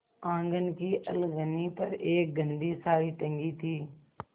आँगन की अलगनी पर एक गंदी साड़ी टंगी थी